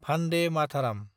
भान्डे माथाराम